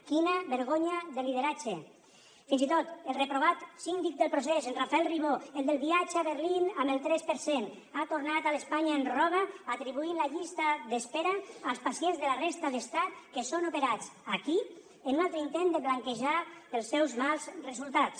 quina vergonya de lideratge fins i tot el reprovat síndic del procés en rafael ribó el del viatge a berlín amb el tres per cent ha tornat a l’ espanya ens roba atribuint la llista d’espera als pacients de la resta de l’estat que són operats aquí en un altre intent de blanquejar els seus mals resultats